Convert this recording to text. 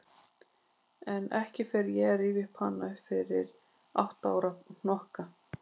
En ekki fer ég að rifja hana upp fyrir átta ára hnokka.